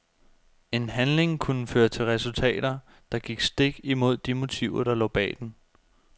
En handling kunne føre til resultater, der gik stik imod de motiver der lå bag den.